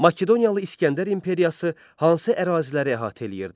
Makedoniyalı İsgəndər imperiyası hansı əraziləri əhatə eləyirdi?